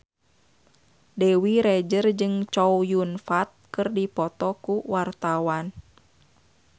Dewi Rezer jeung Chow Yun Fat keur dipoto ku wartawan